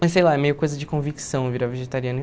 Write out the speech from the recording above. Mas, sei lá, é meio coisa de convicção virar vegetariano.